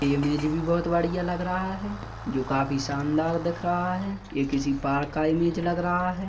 Image भी बोहोत बढ़िया लग रहा है जो काफी शानदार दिख रहा है ये किसी पार्क का लग रहा हैं।